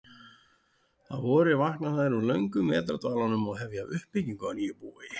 Að vori vakna þær úr löngum vetrardvalanum og hefja uppbyggingu á nýju búi.